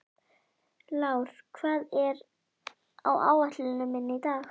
Lár, hvað er á áætluninni minni í dag?